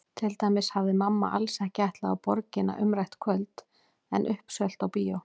Til dæmis hafði mamma alls ekki ætlað á Borgina umrætt kvöld en uppselt á bíó.